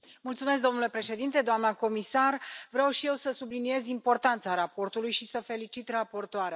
Domnule președinte, doamna comisar, vreau și eu să subliniez importanța raportului și să felicit raportoarea.